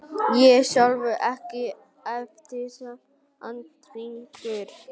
Ég sjálfur EKKI erfiðasti andstæðingur?